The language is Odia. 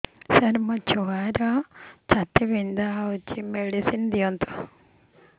ସାର ମୋର ଛୁଆର ଛାତି ପୀଡା ହଉଚି ମେଡିସିନ ଦିଅନ୍ତୁ